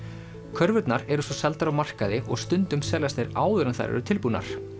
körfurnar eru svo seldar á markaði og stundum seljast þær áður en þær eru tilbúnar